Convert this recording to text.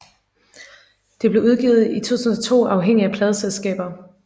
Det blev udgivet i 2002 uafhængigt af pladeselskaber